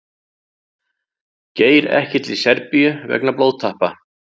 Geir ekki til Serbíu vegna blóðtappa